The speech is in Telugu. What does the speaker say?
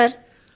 అవును సర్